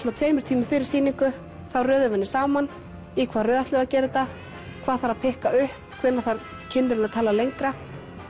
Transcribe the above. tveimur tímum fyrir sýningu þá röðum við henni saman í hvaða röð ætlum við að gera þetta hvað þarf að pikka upp hvenær þarf kynnirinn að tala lengra